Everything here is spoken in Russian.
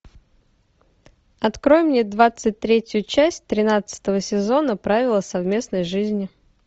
открой мне двадцать третью часть тринадцатого сезона правила совместной жизни